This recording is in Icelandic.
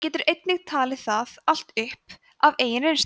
það getur enginn talið það allt upp af eigin reynslu